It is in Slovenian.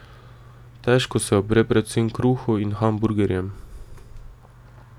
Težko se upre predvsem kruhu in hamburgerjem.